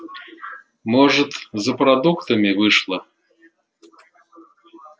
может за продуктами вышла